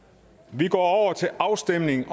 vi går til afstemning